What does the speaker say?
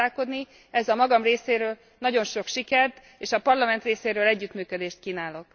Ezzel a magam részéről nagyon sok sikert és a Parlament részéről együttműködést kívánok.